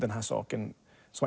hans og ungan son